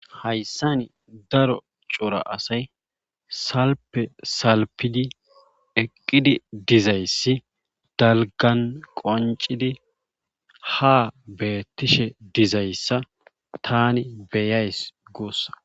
Hayssan daro cora asay salfe salfidi eqqidi dizayssi dalggan qonccidi ha beetishe dizayssa tani beyays guussa.